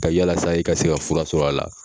ka yalasa i ka se ka fura sɔrɔ a la.